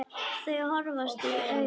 Þau horfast í augu.